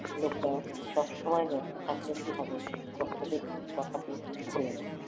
লোকটা সবসময় ব্যস্ত থাকলে কি হবে কর্তাদের কথা কেউ ভোলে না।